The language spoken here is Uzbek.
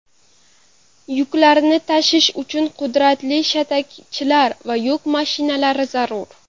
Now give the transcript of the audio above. Yuklarni tashish uchun qudratli shatakchilar va yuk mashinalari zarur.